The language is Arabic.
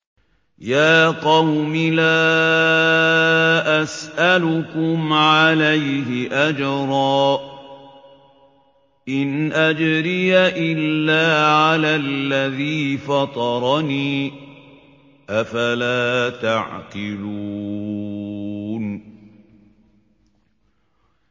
يَا قَوْمِ لَا أَسْأَلُكُمْ عَلَيْهِ أَجْرًا ۖ إِنْ أَجْرِيَ إِلَّا عَلَى الَّذِي فَطَرَنِي ۚ أَفَلَا تَعْقِلُونَ